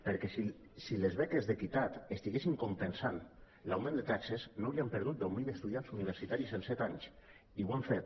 perquè si les beques d’equitat estiguessin compensant l’augment de taxes no hauríem perdut deu mil estudiants universitaris en set anys i ho hem fet